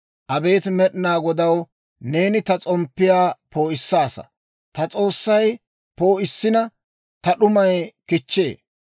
Abeet Med'inaa Godaw, neeni ta s'omppiyaa poo'issaasa; ta S'oossay poo'issina, ta d'umay kichchee.